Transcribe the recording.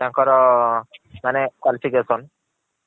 ତାଙ୍କର ମାନେ qualification